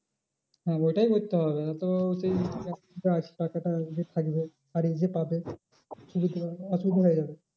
হ্যাঁ ওইটাই করতে হবে তো সেই টাকাটা যে থাকবে আর যে পাবে অসুবিধা হয়ে যাবে।